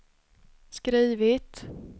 skrivit